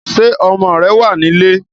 Ṣé ọmọ rẹ̀ wá nílé?